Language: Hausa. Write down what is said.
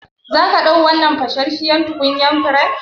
Zaka ɗau wannan fashashshiyar tukunyan furen?